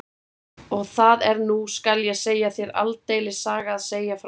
Og það er nú skal ég segja þér aldeilis saga að segja frá því.